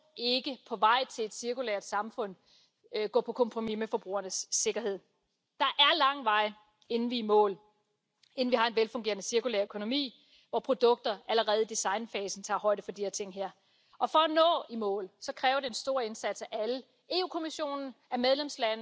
kaikki lelut, korut ja sähkölaitteet olivat jollain tavalla kelvottomia. Lelut sisälsivät hengenvaarallisia osia, sähkölaitteet aiheuttivat sähköiskuja, korut eivät sisältäneet